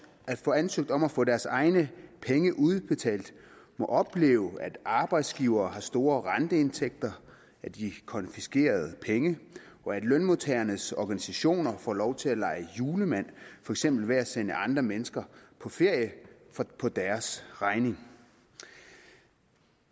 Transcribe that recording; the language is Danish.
at få ansøgt om at få deres egne penge udbetalt må opleve at arbejdsgivere har store renteindtægter af de konfiskerede penge og at lønmodtagernes organisationer får lov til at lege julemand for eksempel ved at sende andre mennesker på ferie på deres regning